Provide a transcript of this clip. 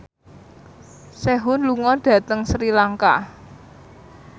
Sehun lunga dhateng Sri Lanka